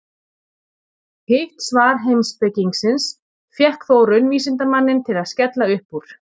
Hitt svar heimspekingsins fékk þó raunvísindamanninn til að skella upp úr.